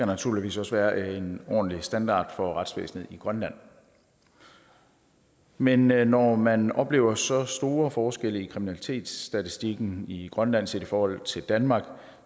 naturligvis også være en ordentlig standard for retsvæsenet i grønland men men når man oplever så store forskelle i kriminalitetsstatistikken i grønland set i forhold til danmark